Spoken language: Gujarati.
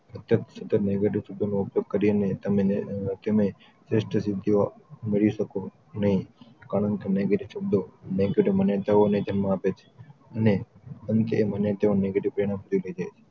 સતત negative શબ્દોનો ઉપયોગ કરીને તમને તમે શ્રેષ્ઠ સિધ્ધીઓ મેળવી શકો નય કારણ કે negative શબ્દો મોટી મહેચ્છાઓ ને જન્મ આપે છે અને અંતે તેઓ મને negative પરિણામો તરફ લઈ જાય છે